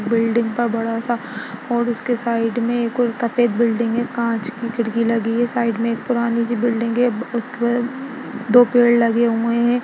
Building पा बड़ा-सा और उसके साइड में एक और सफ़ेद बिल्डिंग है कांच की खिड़की लगी है साइड में एक पुरानी सी बिल्डिंग है उसपे दो पेड़ लगे हुए हैं।